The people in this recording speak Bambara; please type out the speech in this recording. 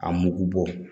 A mugu bɔ